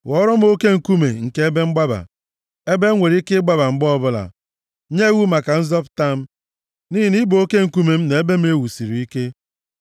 Ghọọrọ m oke nkume nke ebe mgbaba, ebe m nwere ike ịgbaba mgbe ọbụla; nye iwu maka nzọpụta m, nʼihi na ị bụ oke nkume m na ebe m e wusiri ike.